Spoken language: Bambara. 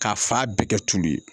K'a fa bɛɛ kɛ tulu ye